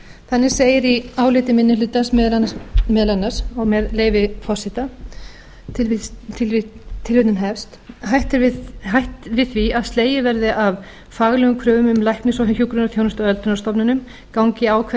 þannig segir í áliti minni hlutans meðal annars og með leyfi forseta hætt við því að slegið verði af faglegum kröfum um læknis og hjúkrunarþjónustu á öldrunarstofnunum gangi ákvæði